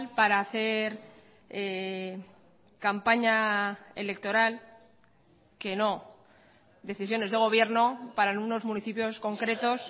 para hacer campaña electoral que no decisiones de gobierno para algunos municipios concretos